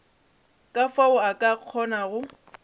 ka fao a ka kgonago